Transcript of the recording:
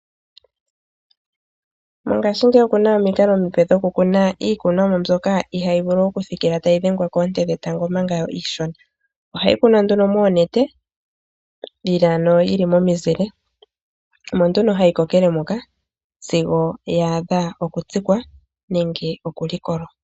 Mongashingeyi okuna omikalo omipe dhoku kuna iikunonwa mbyoka ihayi vulu oku thikila tayi dhengwa keente dhetango ompanga iishona. Ohayi kunwa nduno moonete, yili ano momizile. Omo nduno hayi ko kele mpoka, sigo yaadhwa oku tsikwa nenge oku likolwa.